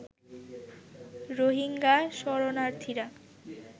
Rohingya শরণার্থীরা